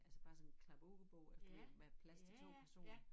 Altså bare sådan en klap-ud bord du ved med plads til 2 personer